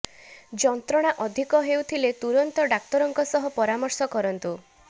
ଯନ୍ତ୍ରଣା ଅଧିକ ହେଉଥିଲେ ତୁରନ୍ତ ଡାକ୍ତରଙ୍କ ସହ ପରାମର୍ଶ କରନ୍ତୁ